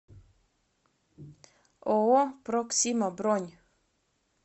ооо проксима бронь